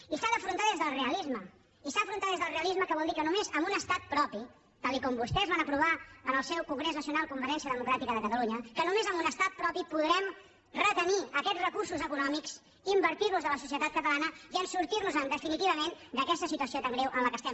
i s’ha d’afrontar des del realisme i s’ha d’afrontar des del realisme que vol dir que només amb un estat propi tal com vostès van aprovar en el seu congrés nacional convergència democràtica de catalunya podrem retenir aquests recursos econòmics invertir los a la societat catalana i sortir nos en definitivament d’aquesta situació tan greu en la qual estem